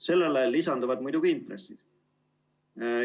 Sellele lisanduvad muidugi intressid.